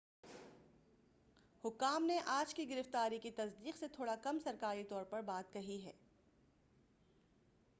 حکام نے آج کی گرفتاری کی تصدیق سے تھوڑا کم سرکاری طور پر بات کہی ہے